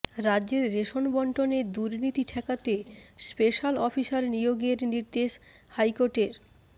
রাজ্যের রেশন বণ্টনে দুর্নীতি ঠেকাতে স্পেশাল অফিসার নিয়োগের নির্দেশ হাইকোর্টের